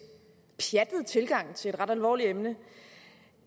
pjattet tilgang at have til et ret alvorligt emne